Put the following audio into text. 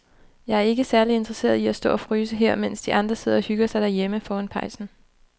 Jeg er ikke særlig interesseret i at stå og fryse her, mens de andre sidder og hygger sig derhjemme foran pejsen.